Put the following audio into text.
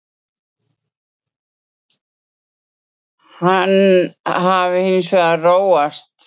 Hann hafi hins vegar róast